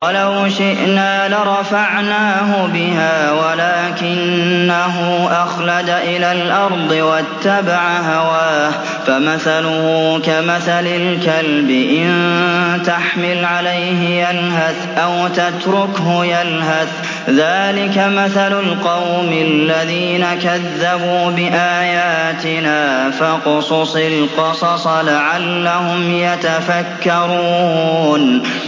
وَلَوْ شِئْنَا لَرَفَعْنَاهُ بِهَا وَلَٰكِنَّهُ أَخْلَدَ إِلَى الْأَرْضِ وَاتَّبَعَ هَوَاهُ ۚ فَمَثَلُهُ كَمَثَلِ الْكَلْبِ إِن تَحْمِلْ عَلَيْهِ يَلْهَثْ أَوْ تَتْرُكْهُ يَلْهَث ۚ ذَّٰلِكَ مَثَلُ الْقَوْمِ الَّذِينَ كَذَّبُوا بِآيَاتِنَا ۚ فَاقْصُصِ الْقَصَصَ لَعَلَّهُمْ يَتَفَكَّرُونَ